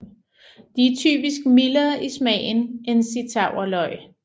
De er typisk mildere i smagen end zittauerløg